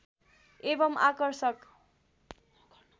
एवम् आकर्षक